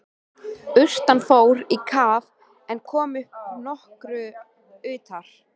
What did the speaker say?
Urtan fór í kaf en kom upp nokkru utar.